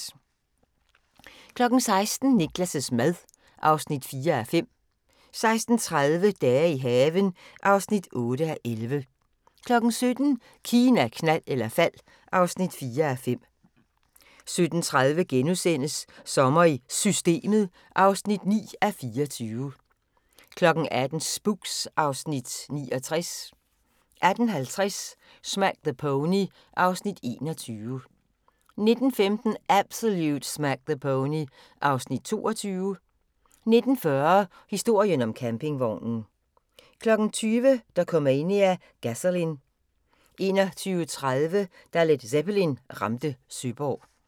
16:00: Niklas' mad (4:5) 16:30: Dage i haven (8:11) 17:00: Kina, knald eller fald (4:5) 17:30: Sommer i Systemet (9:24)* 18:00: Spooks (Afs. 69) 18:50: Smack the Pony (Afs. 21) 19:15: Absolute Smack the Pony (Afs. 22) 19:40: Historien om campingvognen 20:00: Dokumania: Gasolin' 21:30: Da Led Zeppelin ramte Søborg